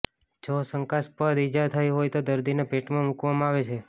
જો શંકાસ્પદ ઇજા થઈ હોય તો દર્દીને પેટમાં મૂકવામાં આવે છે